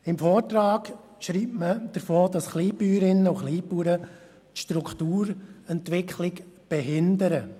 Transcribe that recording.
Im Vortrag wird darüber geschrieben, dass Kleinbäuerinnen und Kleinbauern die Strukturentwicklung behindern.